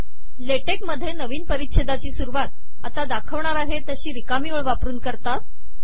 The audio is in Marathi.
ला टेक मधे नवीन परिच्छेदाची सुरूवात आता दाखवणार आहे तशी रिकामी ओळ वापरून करतात